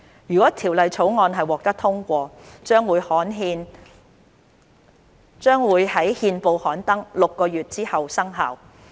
如《條例草案》獲得通過，將會於憲報刊登6個月之後生效。